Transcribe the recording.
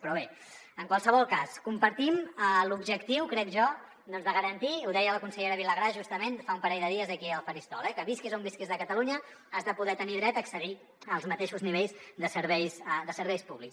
però bé en qualsevol cas compartim l’objectiu crec jo doncs de garantir ho deia la consellera vilagrà justament fa un parell de dies aquí al faristol eh que visquis on visquis de catalunya has de poder tenir dret a accedir als mateixos nivells de serveis públics